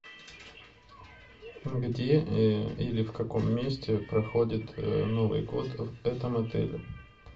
где или в каком месте проходит новый год в этом отеле